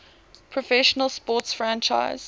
professional sports franchise